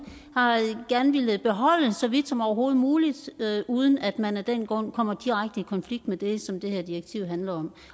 gerne har villet beholde så vidt som overhovedet muligt uden at man af den grund kommer direkte i konflikt med det som det her direktiv handler om